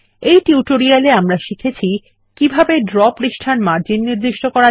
এই টিউটোরিয়ালটি এ আমরা শিখেছি কিভাবে ড্র পৃষ্ঠার মার্জিন নির্দিষ্ট করা